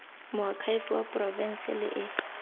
moakhaefe wa porofense le e